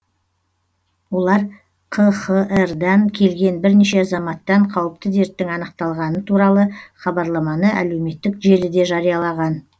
олар қхр дан келген бірнеше азаматтан қауіпті дерттің анықталғаны туралы хабарламаны әлеуметтік желіде жариялаған